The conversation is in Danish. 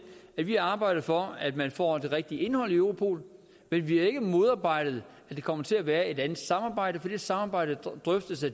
at vi har arbejdet for at man får det rigtige indhold i europol men vi har ikke modarbejdet at det kommer til at være et andet samarbejde for det samarbejde drøftes af